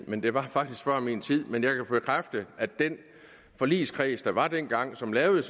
men det var faktisk før min tid men jeg kan bekræfte at den forligskreds der var dengang og som lavede